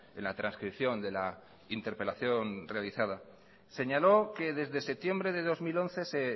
en la trascripción de la interpelación realizada señaló que desde septiembre de dos mil once se